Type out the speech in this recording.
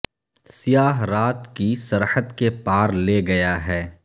سیا ہ رات کی سرحد کے پا ر لے گیا ہے